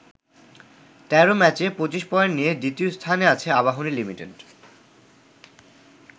১৩ ম্যাচে ২৫ পয়েন্ট নিয়ে দ্বিতীয় স্থানে আছে আবাহনী লিমিটেড।